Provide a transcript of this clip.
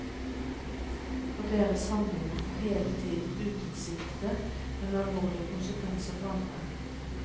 Og deres handlinger får hele tiden utilsiktede, men alvorlige konsekvenser for andre.